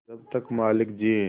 जब तक मालिक जिये